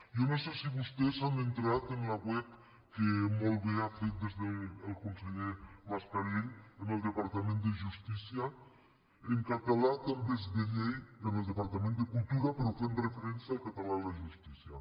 jo no sé si vostès han entrat en la web que molt bé ha fet el conseller mascarell en el departament de justí·cia en català també és de llei en el departament de cultura però fent referència al català en la justícia